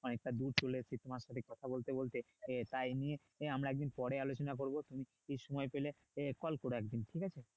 অনেকটা দূর চলে এসেছি তোমার সাথে কথা বলতে বলতে আহ তা এই নিয়ে আহ আমরা এক দিন পরে আলোচনা করবো তুমি সময় পেলে আহ call করো এক দিন ঠিক আছে?